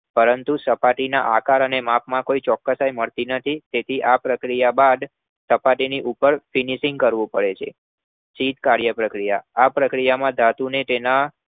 પરંતુ સપાટીના આકાર અને માપમાં કોઈ ચોક્સાઈ મળતી નથી. તેથી આ પ્રક્રિયા કર્યા બાદ સપાટી ઉપર finishing કરવું પડે છે. શીત કાર્યપ્રક્રિયા આ પ્રક્રિયામાં ધાતુને તેના